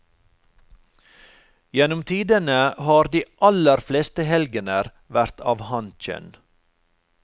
Gjennom tidene har de aller fleste helgener vært av hankjønn.